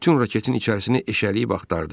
O bütün raketin içərisini eşələyib axtardı.